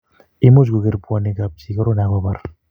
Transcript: much kukerpwonikab chii korona akubar